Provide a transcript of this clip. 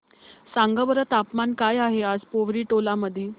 सांगा बरं तापमान काय आहे आज पोवरी टोला मध्ये